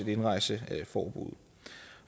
indrejseforbuddet